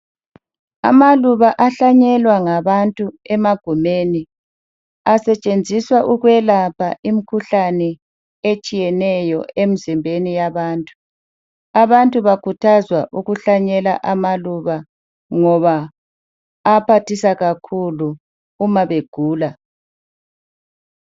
Amaluba ahlanyelwa ngabantu emagumeni asetshenziswa ukwelapha imikhuhlane etshiyeneyo emzimbeni yabantu. Abantu bakhuthazwa ukuhlanyela amaluba ngoba ayaphathisa kakhulu uma begula.